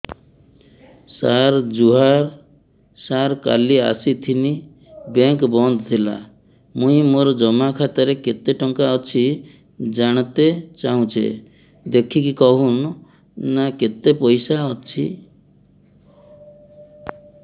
ସାର ଜୁହାର ସାର କାଲ ଆସିଥିନି ବେଙ୍କ ବନ୍ଦ ଥିଲା ମୁଇଁ ମୋର ଜମା ଖାତାରେ କେତେ ଟଙ୍କା ଅଛି ଜାଣତେ ଚାହୁଁଛେ ଦେଖିକି କହୁନ ନା କେତ ପଇସା ଅଛି